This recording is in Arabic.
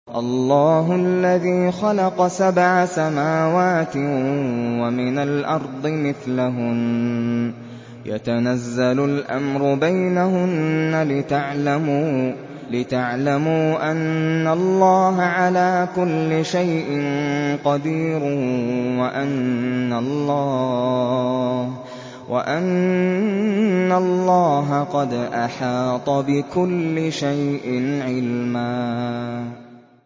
اللَّهُ الَّذِي خَلَقَ سَبْعَ سَمَاوَاتٍ وَمِنَ الْأَرْضِ مِثْلَهُنَّ يَتَنَزَّلُ الْأَمْرُ بَيْنَهُنَّ لِتَعْلَمُوا أَنَّ اللَّهَ عَلَىٰ كُلِّ شَيْءٍ قَدِيرٌ وَأَنَّ اللَّهَ قَدْ أَحَاطَ بِكُلِّ شَيْءٍ عِلْمًا